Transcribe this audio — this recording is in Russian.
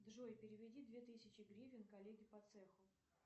джой переведи две тысячи гривен коллеге по цеху